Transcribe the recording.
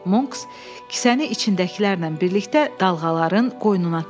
Monks kisəni içindəkilərlə birlikdə dalğaların qoynuna tulladı.